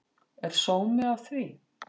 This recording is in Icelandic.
Er sómi af því?